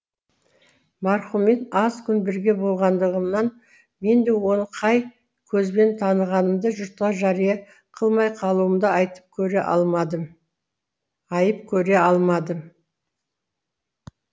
марқұммен аз күн бірге болғандығынан мен де оны қай көзбен танығанымды жұртқа жариа қылмай қалуымды айып көре алмадым